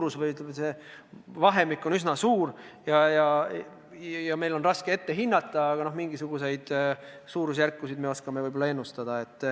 See loksu vahemik on üsna suur ja meil on raske seda ette hinnata, aga mingisuguseid suurusjärkusid me ehk oskame ennustada.